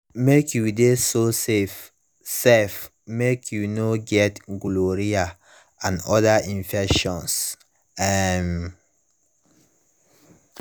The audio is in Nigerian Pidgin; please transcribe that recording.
mk u de so safe sef mk u no get gonorrhea and other infections um